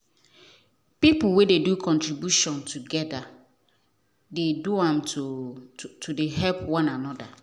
people wen dey do contribution together dey do am to to help one another